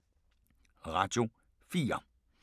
Radio 4